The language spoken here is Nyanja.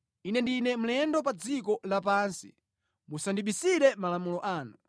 Ine ndine mlendo pa dziko lapansi; musandibisire malamulo anu.